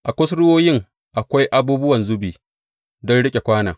A kusurwoyin akwai abubuwan zubi don riƙe kwanon.